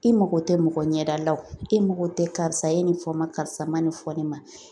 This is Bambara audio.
I mago tɛ mɔgɔ ɲɛda la o e mago tɛ karisa ye nin fɔ ma karisa ma nin fɔ ne ma